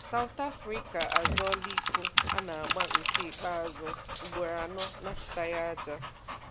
South Africa azọọ̀là iko a na-agbà nke ikpeazụ ugboro anọ na-achịtàghị aja.